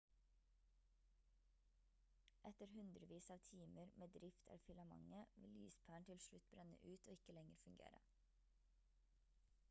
etter hundrevis av timer med drift av filamentet vil lyspæren til slutt brenne ut og ikke lenger fungere